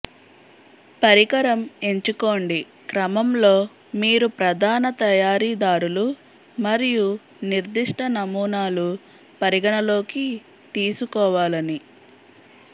పరికరం ఎంచుకోండి క్రమంలో మీరు ప్రధాన తయారీదారులు మరియు నిర్దిష్ట నమూనాలు పరిగణలోకి తీసుకోవాలని